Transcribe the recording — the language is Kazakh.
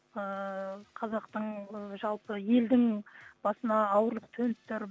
ыыы қазақтың ы жалпы елдің басына ауырлық төніп тұр